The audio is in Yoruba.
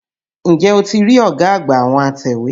N jẹ́ o ti rí ọ̀gá àgbà àwọn atẹ̀wé?